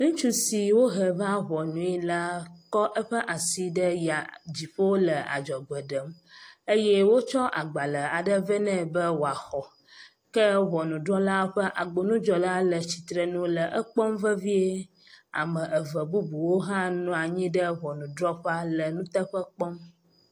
Ŋutsu si wohe va ŋɔnue la, kɔ eƒe asi ɖe ya dziƒo le adzɔgbe ɖem eye wokɔ agbale aɖe vɛ ne be woaxɔ ke ŋɔnudrɔla ƒe agbonudzɔla le atsitre le ekpɔ vevie. Ame eve bubuwo hã nɔ anyi ɖe ŋɔnudrɔƒea le nuteƒe kpɔm.